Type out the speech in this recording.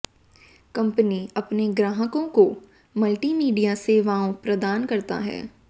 company अपने ग्राहकों को मल्टीमीडिया सेवाओं प्रदान करता है